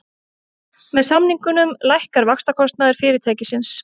Með samningunum lækkar vaxtakostnaður fyrirtækisins